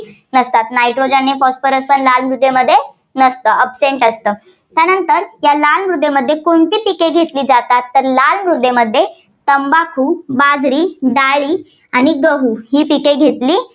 नसतात. nitrogen आणि phosphorus लाल मृदेमध्ये नसतात. absent असत. त्यानंतर या लाल मृदेमध्ये कोणती पिके घेतली जातात. तर लाल मृदेमध्ये तंबाखू, बाजरी, डाळी आणि गहू ही पिके घेतली